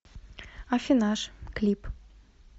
аффинаж клип